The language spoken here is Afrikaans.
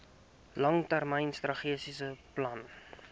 langtermyn strategiese plan